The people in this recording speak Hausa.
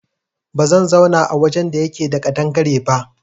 Ba zan zauna a wajen da yake da ƙadangare ba